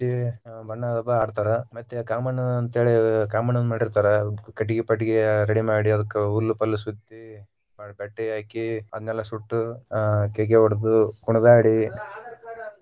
ಬಣ್ಣದ ಹಬ್ಬಾ ಆಡತಾರ ಮತ್ತೆ ಕಾಮಣ್ಣನ ಅಂತೇಳಿ ಕಾಮಣ್ಣನ ಮಾಡಿರತಾರ ಕಟ್ಟಗಿ ಪಟಗಿ ready ಮಾಡಿ ಅದಿಕ ಹುಲ್ಲ ಪಲ್ಲ ಸುತ್ತಿ ಕಟ್ಟಿ ಹಾಕಿ ಅದನ್ನೆಲ್ಲಾ ಸುಟ್ಟ ಕೇಕೆ ಹೊಡದ ಕುಣಿದಾಡಿ.